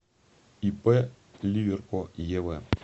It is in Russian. ип ливерко ев